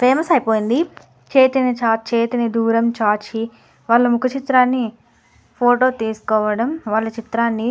famous అయిపోయింది చేతిని చాచి చేతిని దూరం చాచి వాళ ముఖ చిత్రాన్ని ఫోటో తీసుకోవడం వాళ్ళ చిత్రాన్ని --